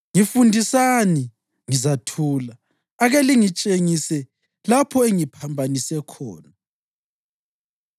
Ngifundisani, ngizathula; ake lingitshengise lapho engiphambanise khona.